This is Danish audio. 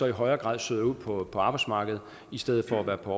i højere grad søger ud på på arbejdsmarkedet i stedet for at være på